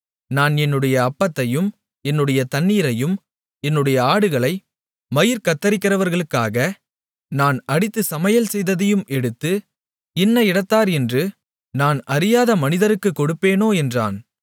நான் என்னுடைய அப்பத்தையும் என்னுடைய தண்ணீரையும் என்னுடைய ஆடுகளை மயிர் கத்தரிக்கிறவர்களுக்காக நான் அடித்துச் சமையல்செய்ததையும் எடுத்து இன்ன இடத்தார் என்று நான் அறியாத மனிதருக்கு கொடுப்பேனோ என்றான்